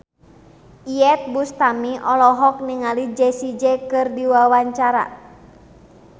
Iyeth Bustami olohok ningali Jessie J keur diwawancara